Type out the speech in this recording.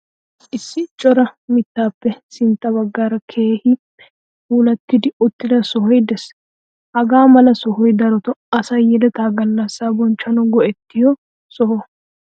Issi cora mittaappe sintta baggaara keehippe puulattidi uttida sohoy de'ees. Hagaa mala sohoy darotoo asay yeleta gallassaa bonchchanwu go'ettiyo soho.